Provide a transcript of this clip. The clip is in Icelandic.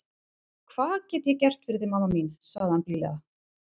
Hvað get é gert fyrir þig mamma mín, saði hann blíðlega.